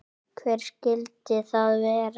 Hver skyldi það vera?